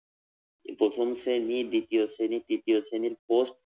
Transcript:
প্রথম শ্রেণী দ্বিতীয় শ্রেণী তৃতীয় শ্রেণীর পোস্ট